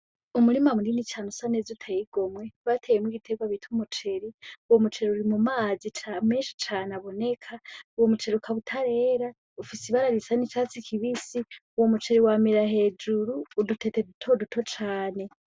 Umurima munini cane usa neza uteye igomwe bateyemwo igitegwa bita umuceri uwo muceri uri mumazi menshi cane aboneka uwo muceri ukaba utarera ufise ibara isa n' icatsi kibisi uwo muceri wamira hejuru udutete dutoduto cane.